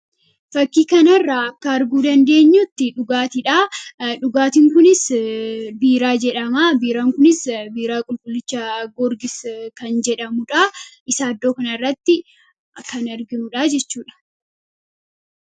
Fakkii kana irraa akka arguu dandeenyutti dhugaatiidha. Dhugaatiin kunis biiraa jedhama. Biiraan kunis biiraa qulqullicha Goorgis jedhamuun beekama.